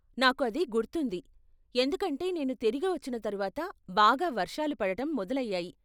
నాకు అది గుర్తుంది, ఎందుకంటే నేను తిరిగి వచ్చిన తరువాత బాగా వర్షాలు పడటం మొదలయ్యాయి.